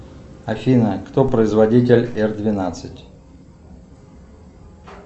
афина кто производитель р двенадцать